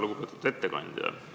Lugupeetud ettekandja!